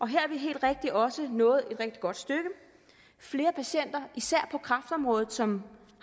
her er vi helt rigtigt også nået et rigtig godt stykke flere patienter især på kræftområdet som